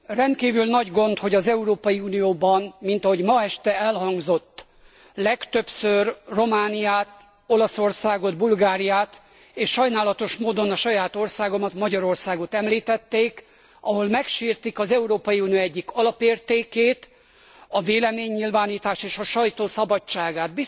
Rendkívül nagy gond, hogy az Európai Unióban, mint ahogy ma este elhangzott, legtöbbször Romániát, Olaszországot, Bulgáriát és sajnálatos módon a saját országomat, Magyarországot említették, ahol megsértik az Európai Unió egyik alapértékét, a véleménynyilvánítás és a sajtó szabadságát.